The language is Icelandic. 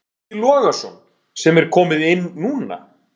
Breki Logason: Sem er komið inn núna?